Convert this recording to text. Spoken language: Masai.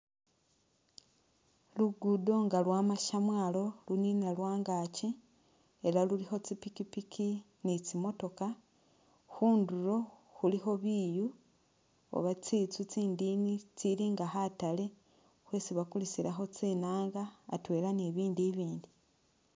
Luguudo nga lwama shamwalo lunina lwangaki ela lulikho tsipikipiki ni tsi motokha khundulo khulikho biiyu oba tsinzu tsindini tsili nga khataale tsesi bakulisilakho tsinaanga atwela ni bibindu i'bindi